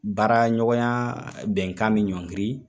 Baara ɲɔgɔnya bɛnkan bi ɲɔngiri.